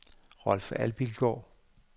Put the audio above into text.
Rolf Abildgaard